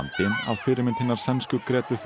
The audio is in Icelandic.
fyrirmynd hinnar sænsku